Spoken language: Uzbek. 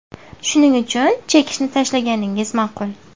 Shuning uchun chekishni tashlaganingiz ma’qul.